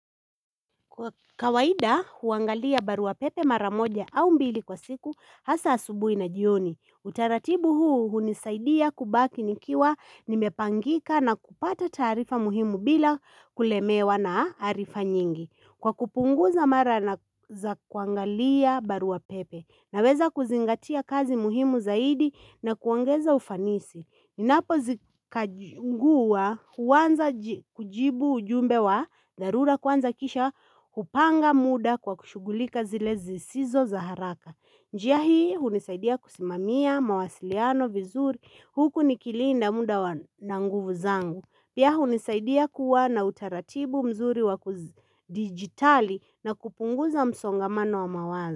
Kwa kawaida huangalia barua pepe mara moja au mbili kwa siku hasa asubuhi na jioni. Utaratibu huu hunisaidia kubaki nikiwa nimepangika na kupata taarifa muhimu bila kulemewa na arifa nyingi. Kwa kupunguza mara na za kuangalia barua pepe naweza kuzingatia kazi muhimu zaidi na kuongeza ufanisi. Ninapozikajifungua huanza kujibu ujumbe wa dharura kwanza kisha kupanga muda kwa kushughulika zile zisizo za haraka. Njia hii hunisaidia kusimamia mawasiliano vizuri huku nikilinda muda na nguvu zangu. Pia hunisaidia kuwa na utaratibu mzuri wa kudigitali na kupunguza msongamano wa mawazo.